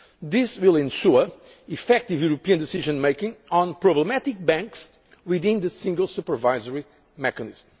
on that. This will ensure effective European decision making on problematic banks within the Single Supervisory